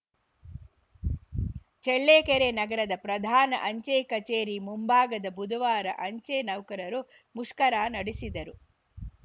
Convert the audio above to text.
ಚೆಳ್ಳೆ ಕೆರೆ ನಗರದ ಪ್ರಧಾನ ಅಂಚೆ ಕಚೇರಿ ಮುಂಭಾಗದ ಬುಧವಾರ ಅಂಚೆ ನೌಕರರು ಮುಷ್ಕರ ನಡೆಸಿದರು